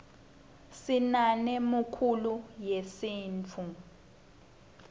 sinane mkulo yesimtfu